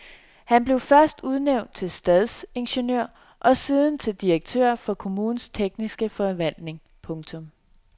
Han blev først udnævnt til stadsingeniør og siden til direktør for kommunens tekniske forvaltning. punktum